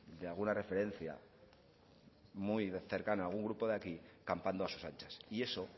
de alguna referencia muy cercana a algún grupo de aquí campando a sus anchas y eso